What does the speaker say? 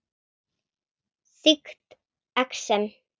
Sýkt exem